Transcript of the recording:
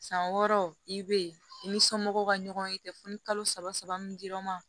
San wɔɔrɔ i bɛ i ni somɔgɔw ka ɲɔgɔn ye dɛ fo ni kalo saba saba min dir'o ma